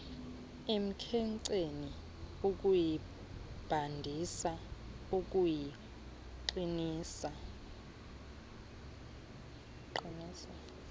emkhenkceni ukuyibandisa ukuyiqinisa